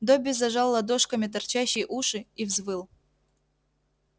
добби зажал ладошками торчащие уши и взвыл